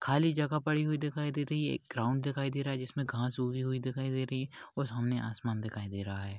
खाली जगा पड़ी हुई दिखाई दे रही है एक ग्राउंड दिखाई दे रहा है जिसमे घास उगी हुई दिखाई दे रही और सामने आसमान दिखाई दे रहा है।